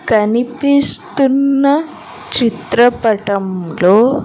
కనిపిస్తున్న చిత్రపటంలో.